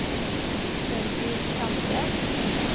Sølvi Sande